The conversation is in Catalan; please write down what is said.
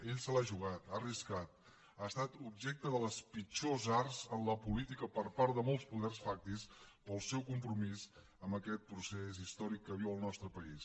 ell se l’ha jugat ha arriscat ha estat objecte de les pitjors arts en la política per part de molts poders fàctics pel seu compromís amb aquest procés històric que viu el nostre país